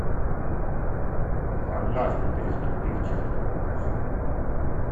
однажды преступив черту покажи